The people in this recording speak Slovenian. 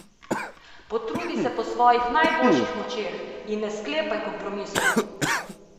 Potrudi se po svojih najboljših močeh in ne sklepaj kompromisov!